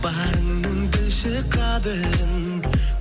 барыңның білші қадірін